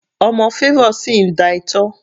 Ọmọ Favour sì ń da itọ́.